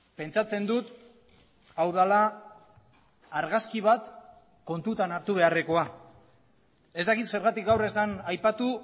pentsatzen dut hau dela argazki bat kontutan hartu beharrekoa ez dakit zergatik gaur ez den aipatu